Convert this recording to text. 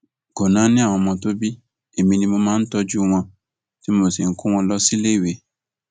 kò náání àwọn ọmọ tó bí èmi ni mo máa ń tọjú wọn tí mò ń kó wọn lọ síléèwé